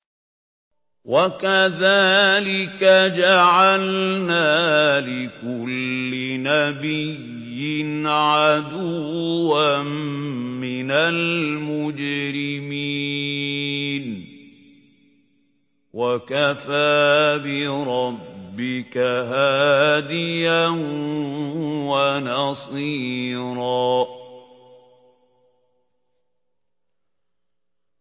وَكَذَٰلِكَ جَعَلْنَا لِكُلِّ نَبِيٍّ عَدُوًّا مِّنَ الْمُجْرِمِينَ ۗ وَكَفَىٰ بِرَبِّكَ هَادِيًا وَنَصِيرًا